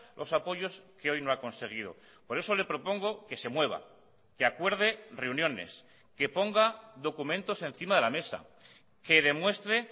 los apoyos que hoy no ha conseguido por eso le propongo que se mueva que acuerde reuniones que ponga documentos encima de la mesa que demuestre